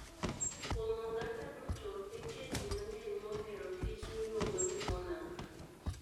Kuom oganda duto, nitie ji mang'eny mohero kich miluongo ni monarch.